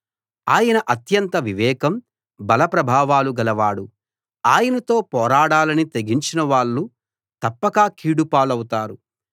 ఆయన అత్యంత వివేకం బల ప్రభావాలు గలవాడు ఆయనతో పోరాడాలని తెగించిన వాళ్ళు తప్పక కీడు పాలవుతారు